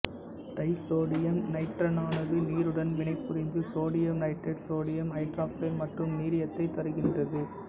disodium நைட்ரைட்டானது நீருடன் வினைபுரிந்து சோடியம் நைட்ரைட் சோடியம் ஐதராக்சைடு மற்றும் நீரியத்தைத் தருகின்றது